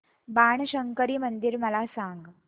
बाणशंकरी मंदिर मला सांग